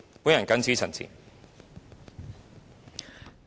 我謹此陳辭。